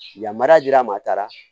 Yamaruya dira a ma a taara